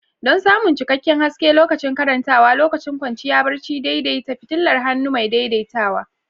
Don samun cikakken haske lokacin karantawa lokacin kwanciya barci, daidaita fitilar hannu mai daidaitawa.